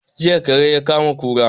Jiya kare ya kama kura